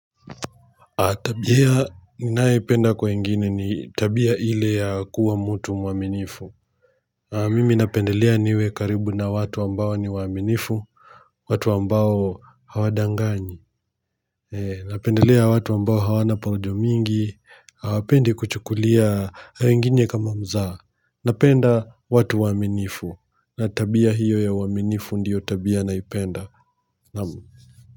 Tabia ninayoipenda kwa wengini ni tabia ile ya kuwa mutu mwaminifu. Mimi napendelea niwe karibu na watu ambao ni waaminifu. Watu ambao hawadanganyi. Napendelea watu ambao hawana porojo mingi. Apende kuchukulia haengine kama mzaha. Napenda watu waaminifu. Na tabia hiyo ya uaminifu ndiyo tabia naipenda naam.